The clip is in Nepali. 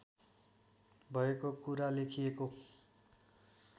भएको कुरा लेखिएको